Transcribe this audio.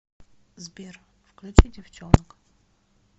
сбер включи девчонок